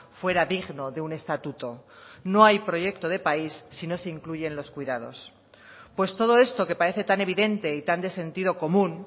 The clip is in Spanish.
fuera digno de un estatuto no hay proyecto de país si no se incluyen los cuidados pues todo esto que parece tan evidente y tan de sentido común